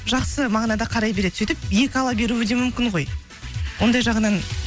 жақсы мағынада қарай береді сөйтіп екі ала беруі де мүмкін ғой ондай жағынан